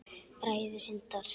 Bræður Hindar